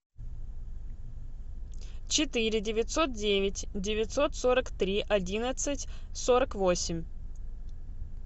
четыре девятьсот девять девятьсот сорок три одиннадцать сорок восемь